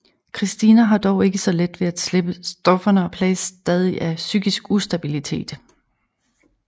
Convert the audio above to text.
Christina har dog ikke så let ved at slippe stofferne og plages stadig af psykisk ustabilitet